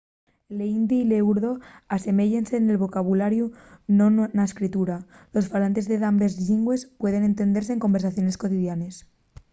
l'hindi y l'urdu aseméyense nel vocabulariu pero non na escritura los falantes de dambes llingües pueden entendese en conversaciones cotidianes